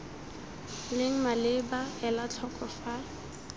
leng maleba ela tlhoko fa